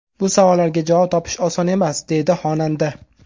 Bu savollarga javob topish oson emas”, deydi xonanda.